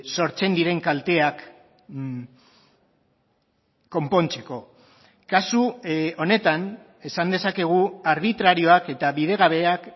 sortzen diren kalteak konpontzeko kasu honetan esan dezakegu arbitrarioak eta bidegabeak